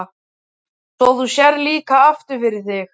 Svo þú sérð líka aftur fyrir þig?